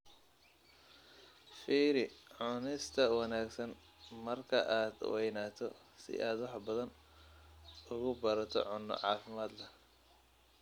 Fiiri Cunista Wanaagsan marka aad weynaato si aad wax badan uga barato cunno caafimaad leh.